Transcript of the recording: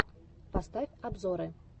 поставь обзоры